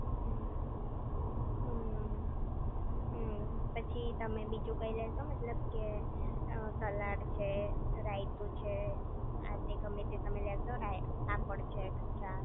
હમ્મ હમ્મ હમ્મ પછી તમે બીજું કઈ લેશો મતલબ સલાડ છે રાયતું છે આતે ગેમ તમે લેશો પાપડ છે એક્સ્ટ્રા